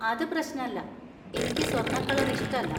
അത് പ്രശ്നല്ല; എനിക്ക് സ്വർണ്ണക്കളർ ഇഷ്ടല്ല.